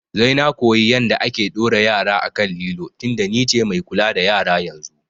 Sai na koyi yanda ake ɗora yara a kan lilo tinda ni ce mai kula da yara yanzu